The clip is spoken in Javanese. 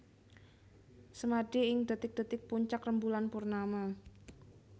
Semadi ing dhetik dhetik puncak rembulan purnama